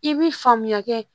I bi faamuya kɛ